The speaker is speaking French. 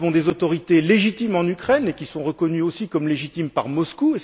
Nous avons des autorités légitimes en Ukraine, et qui sont reconnues aussi comme légitimes par Moscou.